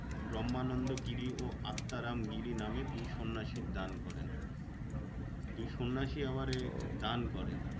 ব্রম্হানন্দ গিরি ও আত্মারাম গিরি নামে দুই সন্ন্যাসী দান করেন। দুই সন্ন্যাসী আবার ও দান করে।